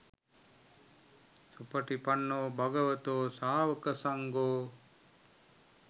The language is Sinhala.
සුපටිපන්නෝ භගවතෝ සාවකසංඝෝ